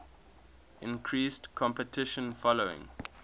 increased competition following